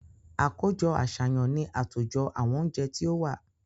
Àkójọ-àṣàyàn ni àtòjọ àwọn oúnjẹ tí ó wà.